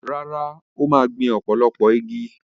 Rárá, ó máa gbìn ọ̀pọ̀lọpọ̀ igi.